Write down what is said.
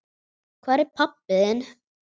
Hvar er pabbi þinn?